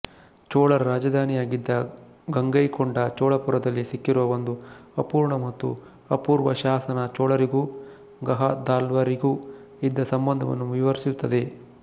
ಚೋಳರ ರಾಜಧಾನಿಯಾಗಿದ್ದ ಗಂಗೈಕೊಂಡ ಚೋಳಪುರದಲ್ಲಿ ಸಿಕ್ಕಿರುವ ಒಂದು ಅಪೂರ್ಣ ಮತ್ತು ಅಪೂರ್ವ ಶಾಸನ ಚೋಳರಿಗೂ ಗಾಹದ್ವಾಲರಿಗೂ ಇದ್ದ ಸಂಬಂಧವನ್ನು ವಿವರಿಸುತ್ತದೆ